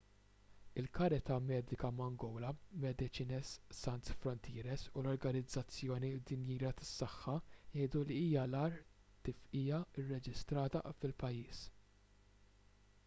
il-karità medika mangola medecines sans frontieres u l-organizzazzjoni dinjija tas-saħħa jgħidu li hija l-agħar tifqigħa rreġistrata fil-pajjiż